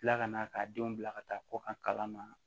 Tila ka na k'a denw bila ka taa kɔ a kala ma